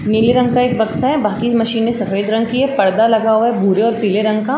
नीले रंग का एक बक्सा है बाकि मशीने सफ़ेद रंग की है पर्दा लगा हुआ है भूरे और पीले रंग का --